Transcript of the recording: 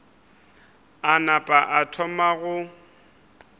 a napa a thoma go